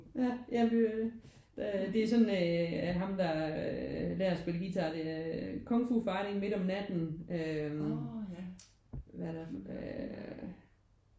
Ja ja men det er jo det. Det er sådan at ham der øh lærer at spille guitar er Kung Fu Fighting Midt om natten øh hvad er der øh